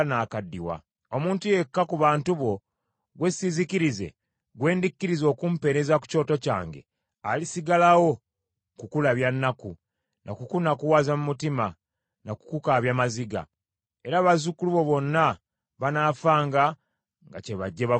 Omuntu yekka ku bantu bo gwe siizikirize, gwe ndikkiriza okumpeereza ku kyoto kyange, alisigalawo kukulabya nnaku, na kukunakuwaza mu mutima, na kukukaabya maziga; era bazzukulu bo bonna banaafanga nga kyebajje bavubuke.’